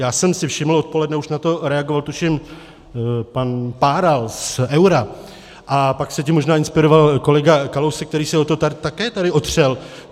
Já jsem si všiml, odpoledne už na to reagoval, tuším, pan Páral z Eura a pak se tím možná inspiroval kolega Kalousek, který se o to také tady otřel.